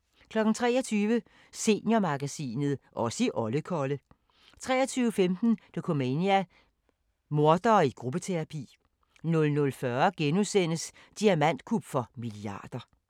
23:00: Seniormagasinet – Os i Olle Kolle 23:15: Dokumania: Mordere i gruppeterapi 00:40: Diamantkup for milliarder *